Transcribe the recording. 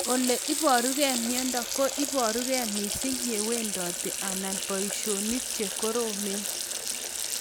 Ole iparukei miondo ko iparukei mising' ye iwendote anan poishonik che koromen